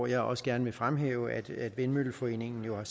jeg også gerne fremhæve at vindmølleforeningen jo